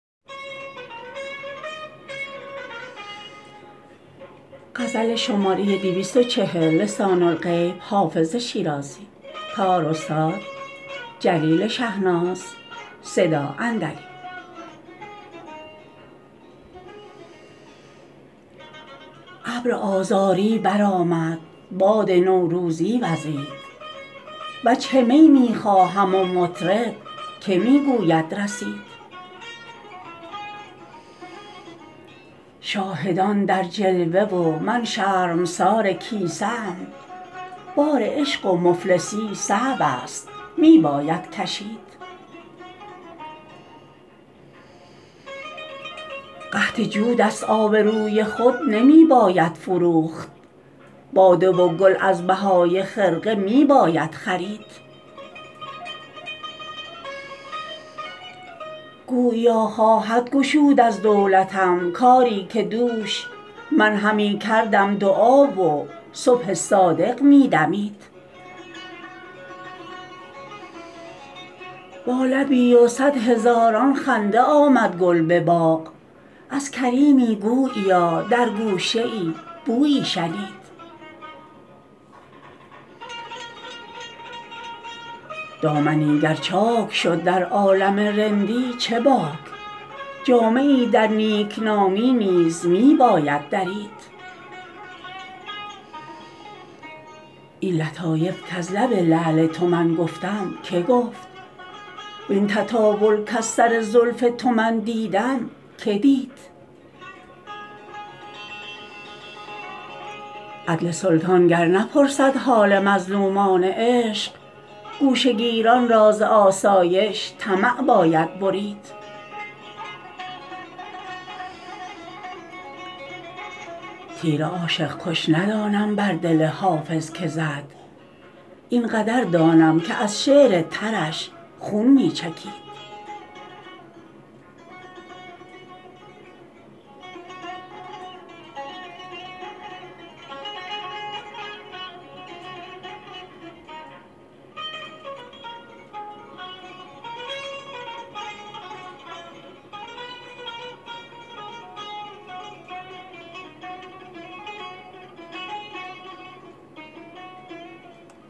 ابر آذاری برآمد باد نوروزی وزید وجه می می خواهم و مطرب که می گوید رسید شاهدان در جلوه و من شرمسار کیسه ام بار عشق و مفلسی صعب است می باید کشید قحط جود است آبروی خود نمی باید فروخت باده و گل از بهای خرقه می باید خرید گوییا خواهد گشود از دولتم کاری که دوش من همی کردم دعا و صبح صادق می دمید با لبی و صد هزاران خنده آمد گل به باغ از کریمی گوییا در گوشه ای بویی شنید دامنی گر چاک شد در عالم رندی چه باک جامه ای در نیکنامی نیز می باید درید این لطایف کز لب لعل تو من گفتم که گفت وین تطاول کز سر زلف تو من دیدم که دید عدل سلطان گر نپرسد حال مظلومان عشق گوشه گیران را ز آسایش طمع باید برید تیر عاشق کش ندانم بر دل حافظ که زد این قدر دانم که از شعر ترش خون می چکید